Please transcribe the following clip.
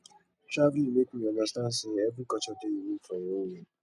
traveling make me understand say every culture dey unique for im own way